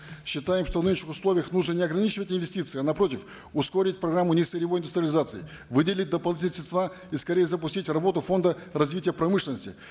считаем что в нынешних условиях нужно не ограничивать инвестиции а напротив ускорить программу несырьевой индустриализации выделить дополнительные средства и скорее запустить работу фонда развития промышленности